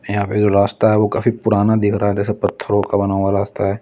यहां पे जो रास्ता है वो काफी पुराना दिख रहा है जैसे पत्थरों का बना हुआ रास्ता है।